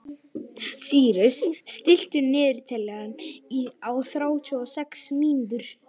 Sýrus, stilltu niðurteljara á þrjátíu og sex mínútur.